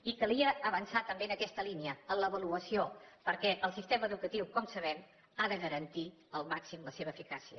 i calia avançar també en aquesta línia en l’avaluació perquè el sistema educatiu com sabem ha de garantir al màxim la seva eficàcia